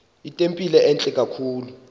itempile entle kakhulu